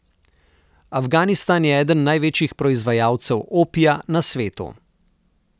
Afganistan je eden največjih proizvajalcev opija na svetu.